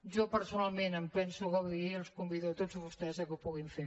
jo personalment en penso gaudir i els convido a tots vostès que ho puguin fer